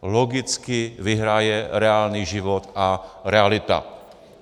Logicky vyhraje reálný život a realita.